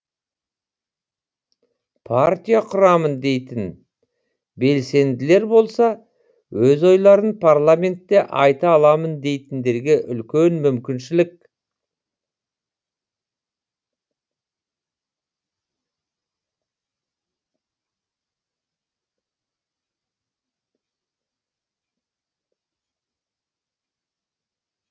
партия құрамын дейтін белсенділер болса өз ойларын парламентте айта аламын дейтіндерге үлкен мүмкіншілік